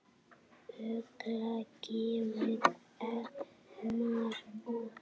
Ugla gefur Elmar út.